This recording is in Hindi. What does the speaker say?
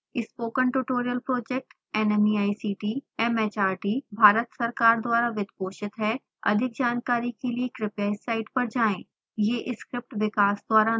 spoken tutorial project nmeict mhrd Bharat सरकार द्वारा वित्त पोषित है अधिक जानकारी के लिए कृपया इस साइट पर जाएं